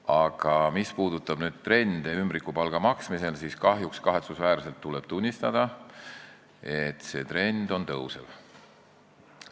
Aga mis puudutab ümbrikupalga maksmist, siis kahjuks tuleb kahetsusväärselt tunnistada, et see trend on tõusev.